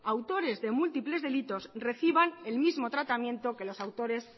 autores de múltiples delitos reciban el mismo tratamiento que los autores